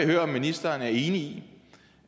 høre om ministeren er enig i